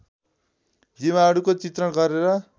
जीवाणुको चित्रण गरेर